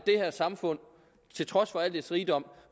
det her samfund trods al dets rigdom